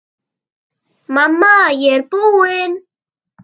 Mamma, ég er búin!